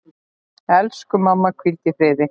Elsku mamma, hvíldu í friði.